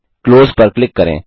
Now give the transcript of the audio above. close पर click करें